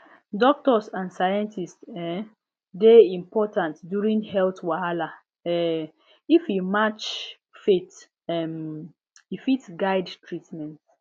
doctors and scientists um dey important during health wahala um if e match faith um e fit guide treatment